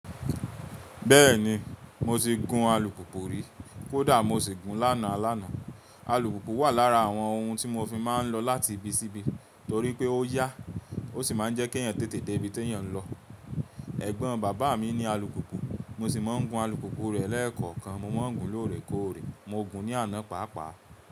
Bẹ́ẹ̀ni mo ti gun alùpùpù rí, kódà mo sì gun lánàá alánàá. Alùpùpù wà lára àwọn ohun tí mo fi máa ń lọ láti ibi sí ibi, torí pé ó yá, ó sì máa ń jẹ́ kí èèyàn tètè dé ibi ti eeyań lọ. Ẹ̀gbọ́n bàbá mi ní alùpùpù, mo sì máa ń gun alùpùpù rẹ̀ lẹ́ẹ̀kọ̀kan. Mo máa ń gun lóòrè kóòrè, mo gùn ní àná pàápàá.